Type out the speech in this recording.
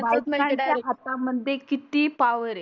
बायकांच्या हाता मध्ये किती पावर आहे.